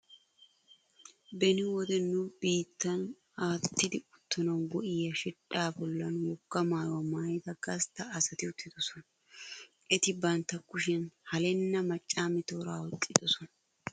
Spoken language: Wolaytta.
Beni wode nu biittan attida uttanawu go''iya shidhdhaa bollan wogaa maayuwa maayida gastta asati uttidosona. Eti bantta kushiyan halenna maccaame tooraa oyqqidosona.